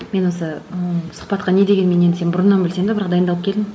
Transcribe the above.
мен осы ыыы сұхбатқа не дегенмен енді сені бұрыннан білсем де бірақ дайындалып келдім